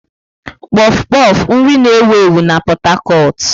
Kpof kpof, nri na-ewu ewu na Pot Tarcot.